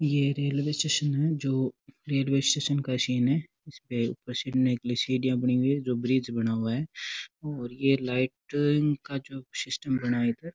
यह railway station है जो रेलवे स्टेशन का सीन है इसपे ऊपर चढ़ने के लिए सीढिया बनी हुई है जो ब्रिज बना हुआ है और यह लाइटिंग का जो सिस्टम बना है इधर --